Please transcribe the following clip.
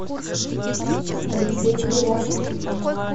алексей крылов